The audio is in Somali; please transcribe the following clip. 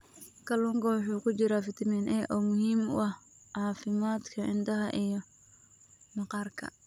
Kalluunka waxaa ku jira fitamiin A oo muhiim u ah caafimaadka indhaha iyo maqaarka.